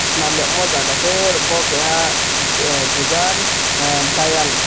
senam da amo jaga se bo keha ah dogan ah dayal.